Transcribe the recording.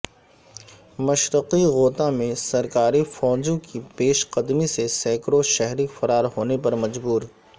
مشرقی غوطہ میں سرکاری فوجوں کی پیش قدمی سے سیکڑوں شہری فرار ہونے پر مجبور